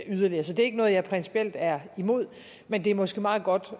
yderligere så det er ikke noget jeg principielt er imod men det er måske meget godt